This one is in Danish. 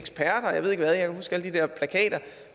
alle de der plakater